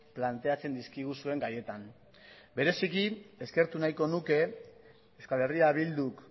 planteatzen dizkiguzuen gaietan bereziki eskertu nahiko nuke euskal herria bilduk